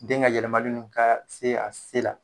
Den ka yɛlɛmali nu kaa se a se la.